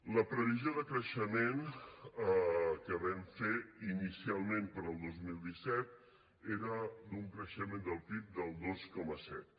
la previsió de creixement que vam fer inicialment per al dos mil disset era d’un creixement del pib del dos coma set